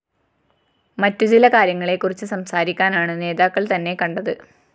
മറ്റുചില കാര്യങ്ങളെക്കുറിച്ച് സംസാരിക്കാനാണ് നേതാക്കള്‍ തന്നെ കണ്ടത്